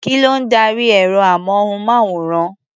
Kí ló ń darí ẹ̀rọ-amóhùnmáwòrán?